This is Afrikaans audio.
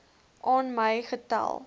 aan my gestel